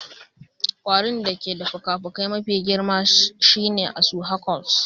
Kwarin da ke da fikafikai mafi girma shine asu Hercules.